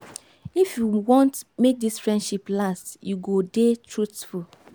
if you want make dis friendship last you go dey truthful.